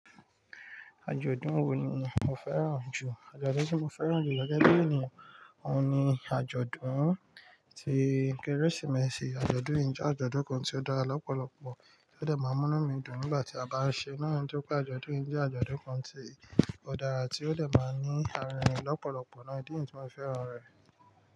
Àjọ̀dún wo ni mo fẹ́ràn jù? Àjọ̀dún tí mo fẹ́ràn jù gege bi eniyan òun ni àjọ̀dún tí kérésìmesì. Àjọ̀dún yìí jẹ́ àjọ̀dún kan tí ó dára lọ́pọ̀lọ́pọ̀ tí ó dẹ̀ máa ń mú mí dùn nígbà tí a bá ń ṣe é na, nitori pé àjọ̀dún yìí jẹ́ àjọ̀dún kan tí ó dára tí ó dẹ̀ máa ń ní àrìnrin lọ́pọ̀lọ́pọ̀. Ìdí niyii ti mo fi fẹ́ràn rẹ̀.